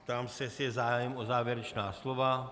Ptám se, jestli je zájem o závěrečná slova.